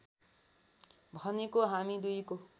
भनेको हामी दुईको